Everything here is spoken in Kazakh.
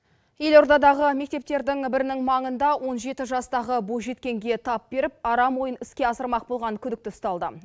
елордадағы мектептердің бірінің маңында он жеті жастағы бойжеткенге тап беріп арам ойын іске асырмақ болған күдікті ұсталды